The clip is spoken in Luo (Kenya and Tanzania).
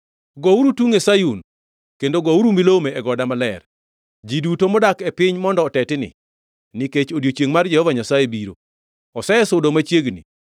Gouru tungʼ e Sayun; kendo gouru milome e goda maler. Ji duto modak e piny mondo otetni, nikech odiechiengʼ mar Jehova Nyasaye biro. Osesudo machiegni.